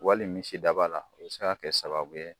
Wali misi daba la o bi se ka kɛ sababu ye